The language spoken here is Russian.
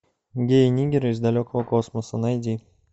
геи ниггеры из далекого космоса найди